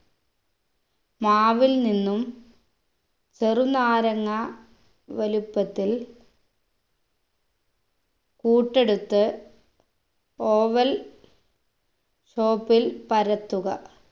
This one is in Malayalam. മാവിൽ നിന്നും ചെറുനാരങ്ങാ വലുപ്പത്തിൽ കൂട്ടെടുത്ത് oval shape ൽ പരത്തുക